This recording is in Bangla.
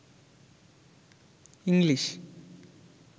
ইংলিশ